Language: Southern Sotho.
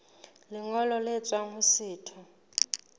lengolo le tswang ho setho